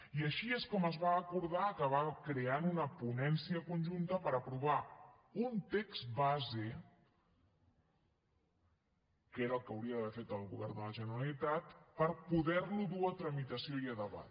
i així és com es va acordar acabar creant una ponència conjunta per aprovar un text base que era el que hauria d’haver fer el govern de la generalitat per poder lo dur a tramitació i a debat